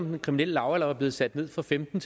den kriminelle lavalder blev sat ned fra femten